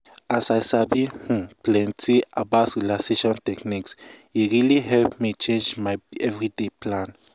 as i sabi um plenty about relaxation um techniques e really help me change my everyday plan.